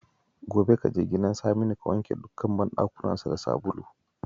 Gobe ka je gidan Saminu ka wanke dukkan bandakunansa da sabulu